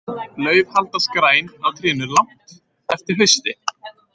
Lauf haldast græn á trénu langt eftir hausti.